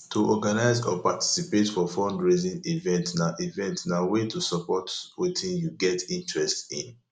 to organize or participate for fundraising event na event na way to support wetin you get interest in